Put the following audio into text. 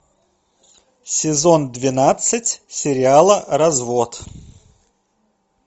сезон двенадцать сериала развод